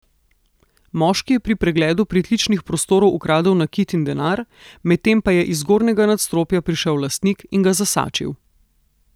Moški je pri pregledu pritličnih prostorov ukradel nakit in denar, medtem pa je iz zgornjega nadstropja prišel lastnik in ga zasačil.